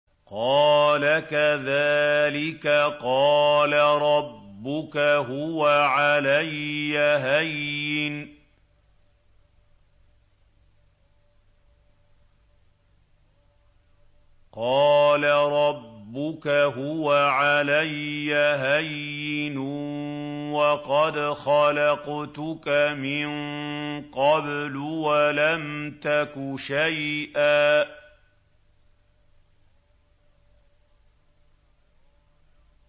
قَالَ كَذَٰلِكَ قَالَ رَبُّكَ هُوَ عَلَيَّ هَيِّنٌ وَقَدْ خَلَقْتُكَ مِن قَبْلُ وَلَمْ تَكُ شَيْئًا